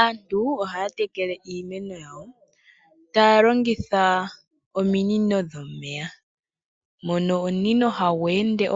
Aantu ohaya tekele iimeno yawo taya longitha ominino dhomeya. Omunino ohagu ende